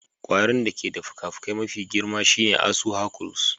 Kwarin da ke da fikafikai mafi girma shine asu Hercules.